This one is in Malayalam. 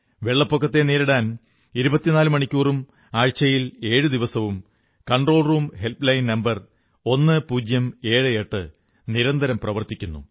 വെള്ളപ്പൊക്കത്തെ നേരിടാൻ 24×7 ഇരുപത്തിനാലു മണിക്കൂറും ആഴ്ചയിലെ ഏഴു ദിവസവും കൺട്രോൾറൂം ഹെല്പ് ലൈൻ നമ്പർ 1078 നിരന്തരം പ്രവർത്തിക്കുന്നു